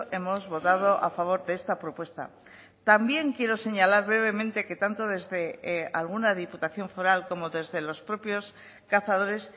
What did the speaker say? hemos votado a favor de esta propuesta también quiero señalar brevemente que tanto desde alguna diputación foral como desde los propios cazadores